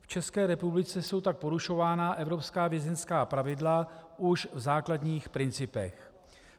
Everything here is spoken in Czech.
V České republice jsou tak porušována evropská vězeňská pravidla už v základních principech.